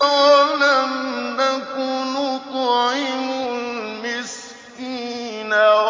وَلَمْ نَكُ نُطْعِمُ الْمِسْكِينَ